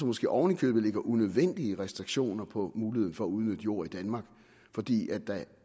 måske oven i købet lægger unødvendige restriktioner på muligheden for at udnytte jord i danmark fordi der